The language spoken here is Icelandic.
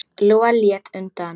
Lóa leit undan.